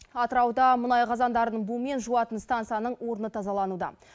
атырауда мұнай қазандарын бумен жуатын станцияның орны тазалануда